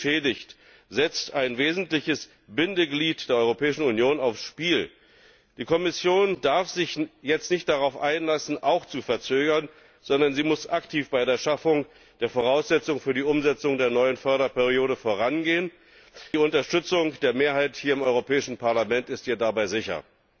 Wer sie beschädigt, setzt ein wesentliches Bindeglied der Europäischen Union aufs Spiel! Die Kommission darf sich jetzt nicht darauf einlassen, auch zu verzögern, sondern sie muss aktiv bei der Schaffung der Voraussetzungen für die Umsetzung der neuen Förderperiode vorangehen. Die Unterstützung der Mehrheit hier im Europäischen Parlament ist ihr dabei sicher.